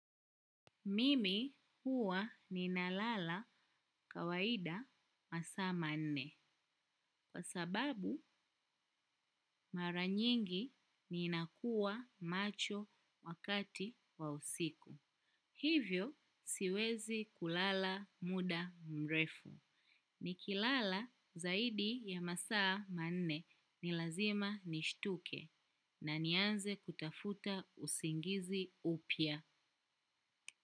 Mimi huwa ninalala kawaida masaa manne. Kwa sababu mara nyingi ninakuwa macho wakati wa usiku. Hivyo siwezi kulala muda mrefu. Nikilala zaidi ya masaa manne ni lazima nishtuke na nianze kutafuta usingizi upya.